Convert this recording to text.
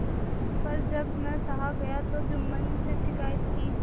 पर जब न सहा गया तब जुम्मन से शिकायत की